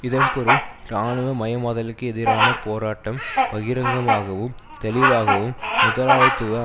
இதன்பொருள் இராணுவ மயமாதலுக்கு எதிரான போராட்டம் பகிரங்கமாகவும் தெளிவாகவும் முதலாளித்துவ